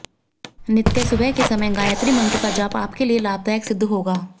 नित्य सुबह के समय गायत्री मंत्र का जाप आपके लिये लाभदायक सिद्ध होगा